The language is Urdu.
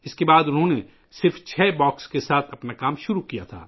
اس کے بعد انہوں نے صرف چھ ڈبوں سے اپنا کام شروع کیا